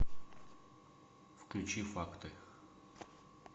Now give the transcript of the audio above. включи факты